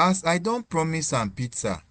As I don promise am pizza,